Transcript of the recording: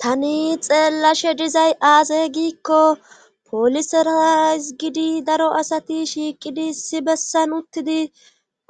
Tani xeellashe dizay aasey giikko poliserazi gidi daro asati shiiqidi issi bessan uttidi